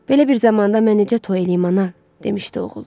Belə bir zamanda mən necə toy eləyim ana, demişdi oğul.